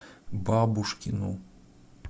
бабушкину